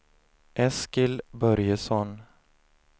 Eskil Börjesson